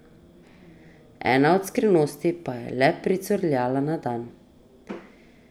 Ena od skrivnosti pa je le pricurljala na dan.